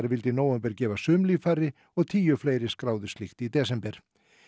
vildu í nóvember gefa sum líffæri og tíu fleiri skráðu slíkt í desember